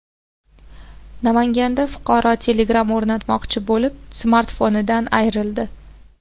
Namanganda fuqaro Telegram o‘rnatmoqchi bo‘lib, smartfonidan ayrildi.